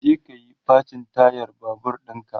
je kayi facin tayar Babur ɗinka!